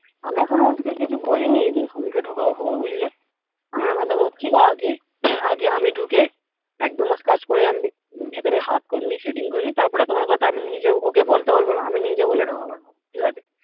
আমি এখনো অঞ্চিত কে কিছু বলিনি যে শামি কে ঢোকাবো ফোকাবো বুঝলে আগে আমি ঢুকে এক দু মাস কাজ করে আমি ভেতরের হাত করে নিই setting করে নিই তারপর এ তোমার কথা আমি নিজে ওকে বলতে বলবো না আমি নিজে বলে ঢোকাবো ঠিকাছে